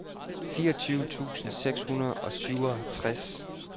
fireogtyve tusind seks hundrede og syvogtres